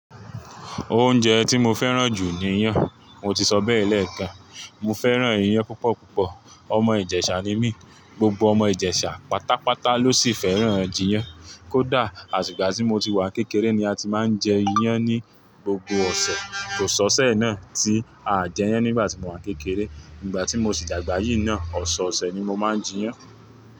Oúnjẹ tí mo fẹ́ràn jù ni iyán. Mo ti sọ bẹ́ẹ̀ lẹ́ẹ̀kan. Mo fẹ́ràn iyán púpọ̀ púpọ̀. Ọmọ ìjẹ̀sà ni mí. Gbogbo ọmọ ìjẹ̀sà pátápátá ló sì fẹ́ràn jíyán. Kódà àti igbà tí mo ti wà kékeré ni a ti máa ń jẹ iyán ní gbogbo ọ̀sẹ̀. Kò sọ́ṣẹ́ náà tí a à jẹ iyán nígbà tí mo wà kékeré. Nígbà tí mo sì dàgbà yìí náà, ọ̀sọ̀ọ̀sẹ̀ ni mo máa ń jẹ iyán.